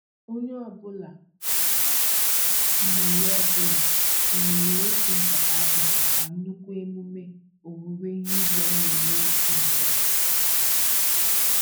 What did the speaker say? Onye ọbụla tụnyere ọbụla tụnyere otu nkata akpụ maka nnukwu emume owuwe ihe ubi a na-eme echi n'obodo